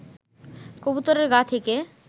কবুতরের গা থেকে